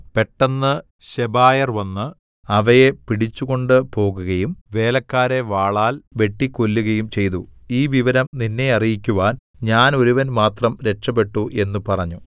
പെട്ടെന്ന് ശെബായർ വന്ന് അവയെ പിടിച്ചു കൊണ്ടുപോകുകയും വേലക്കാരെ വാളാൽ വെട്ടിക്കൊല്ലുകയും ചെയ്തു ഈ വിവരം നിന്നെ അറിയിക്കുവാൻ ഞാൻ ഒരുവൻ മാത്രം രക്ഷപ്പെട്ടു എന്നു പറഞ്ഞു